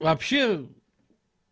вообще